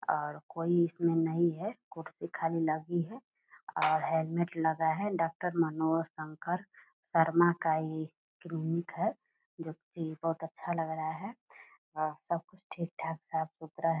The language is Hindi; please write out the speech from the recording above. और कोई इसमे नहीं है कुर्सी खाली लगी है और हेलमेट लगा है डॉक्टर मनोज शंकर शर्मा का ये क्लिनिक है जो की बहुत अच्छा लग रहा है और सबकुछ ठीक ठाक साफ-सुथरा है।